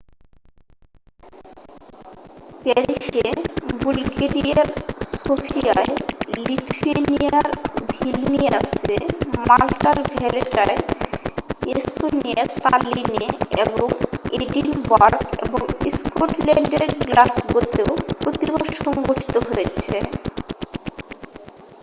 প্যারিসে বুলগেরিয়ার সোফিয়ায় লিথুয়েনিয়ার ভিলনিয়াসে মাল্টার ভ্যালেটায় এস্তোনিয়ার তাল্লিনে এবং এডিনবারগ এবং স্কটল্যান্ড এর গ্লাসগোতেও প্রতিবাদ সংঘঠিত হয়েছে